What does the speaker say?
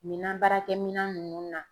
Minan baara kɛ minan ninnu na.